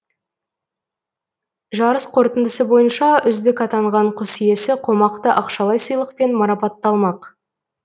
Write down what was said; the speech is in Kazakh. жарыс қорытындысы бойынша үздік атанған құс иесі қомақты ақшалай сыйлықпен марапатталмақ